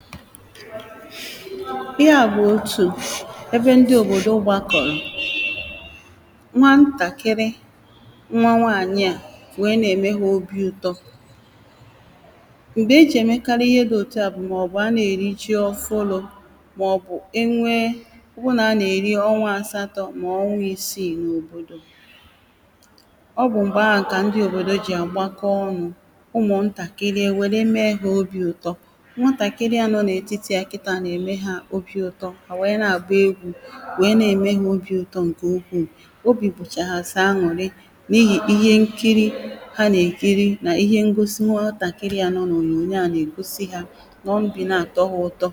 ihe à bụ̀ òtù ebe ndị òbòdo gbakọ̀rọ̀ nwantàkịrị nwa nwaànyị à wèe na-ème ha obī ụtọ m̀gbè ejì èmekarị ihe dị̄ òtu à bụ̀ màọ̀bụ̀ ana-èri ji ọfụlụ̄ màọ̀bụ̀ enwee màọ̀bụ̀ nà a na-èri ọnwa asatọ̄ mọ̀ọ ọnwa ìsiì n’òbòdò ọ bụ̀ m̀gbè ahụ̀ kà ndị òbòdo jì àgbakọ ọnụ̄ Ụmụ̀ǹtàkịrị èwère mee ha obī ụtọ nwaǹtàkịrịà nọ n’ètitì ha kịtāà nà-ème hā obī ụtọ hà wèe na-àgba egwū wèe na-ème ha obī ụtọ ǹkè ukwuù obì bụ̀chà hà sọ̀ an̄ụ̀rị n’ihì ihe nkiri ha nà-èkiri nà ihe ngosi nwatàkịrị à nọ n’ònyònyo à nà-ègosi hā obì na-àtọ hā ụtọ